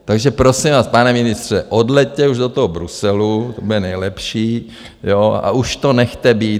Takže, prosím vás, pane ministře, odleťte už do toho Bruselu, to bude nejlepší, jo, a už to nechte být.